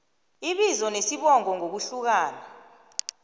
ibizo nesibongo ngokuhlukanisa